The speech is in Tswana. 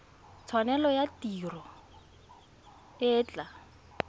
tshwanelo ya tiro e tla